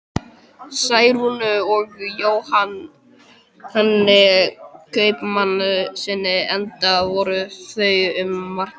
Særúnu og Jóhanni kaupmannssyni, enda voru þau um margt lík.